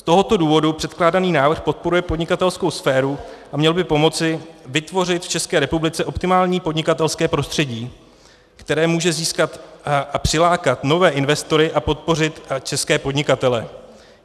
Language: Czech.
Z tohoto důvodu předkládaný návrh podporuje podnikatelskou sféru a měl by pomoci vytvořit v České republice optimální podnikatelské prostředí, které může získat a přilákat nové investory a podpořit české podnikatele.